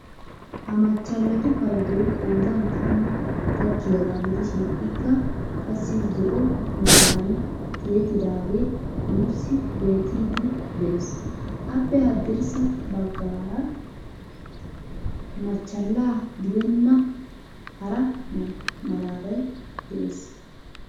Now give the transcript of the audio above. Ha machchallatu paydoy qoodan tammaa gakkiyaaga gidishin ikka qassi zo"o meraam tiyettidagee nuusi bettiidi de'ees. appe haddirssa baggaara machchala gidenna hara malaatay de'ees.